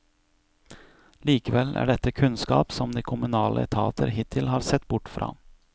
Likevel er dette kunnskap som de kommunale etater hittil har sett bort fra.